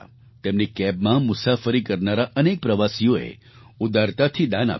તેમની કૅબમાં મુસાફરી કરનારા અનેક પ્રવાસીઓએ ઉદારતાથી દાન આપ્યું